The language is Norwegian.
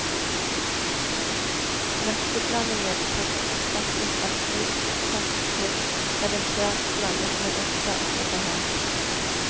Nøtteblandingen kan erstattes av knust tørr loff, eventuelt blandet med urter etter behag.